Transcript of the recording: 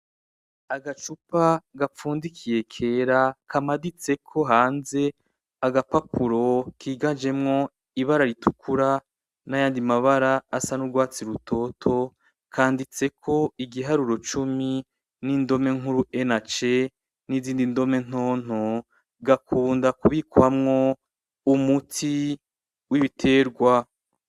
Agacupa gapfundikiye kera kamaditseko hanze agapapuro kiganjemwo ibara ritukura n'ayandi mabara asa n'urwatsi rutoto, kanditseko igiharuro cumi n'indome nkuru E na C n'izindi ndome ntonto, gakunda kubikwamwo umuti w'ibiterwa.